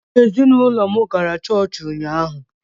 Mụ na ezinụlọ m gara chọọchị ụnyaahụ